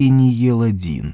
и не ел один